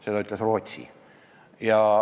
Seda öeldi Rootsis.